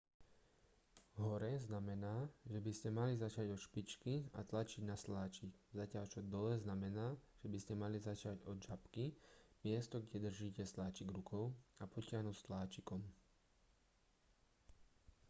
hore znamená že by ste mali začať od špičky a tlačiť na sláčik zatiaľ čo dole znamená že by ste mali začať od žabky miesto kde držíte sláčik rukou a potiahnuť sláčikom